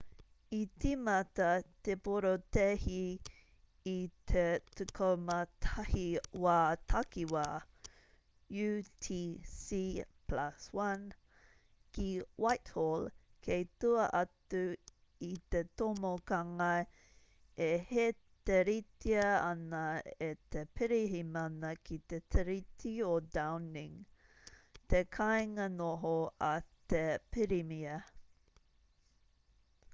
i tīmata te porotēhi i te 11:00 wā takiwā utc+1 ki whitehall kei tua atu i te tomokanga e hēteritia ana e te pirihimana ki te tiriti o downing te kāinga noho a te pirimia